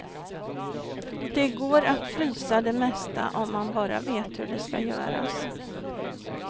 Det går att frysa det mesta om man bara vet hur det ska göras.